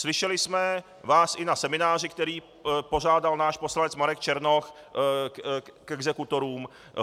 Slyšeli jsme vás i na semináři, který pořádal náš poslanec Marek Černoch k exekutorům.